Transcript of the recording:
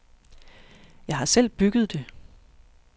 Jeg har selv bygget det.